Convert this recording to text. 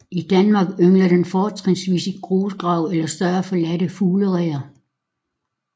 I Danmark yngler den fortrinsvis i grusgrave eller større forladte fuglereder